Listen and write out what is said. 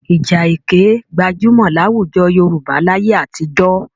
Ìja ẹkẹ gbajúmọ̀ láwùjọ Yorùbá láyé àtijọ́.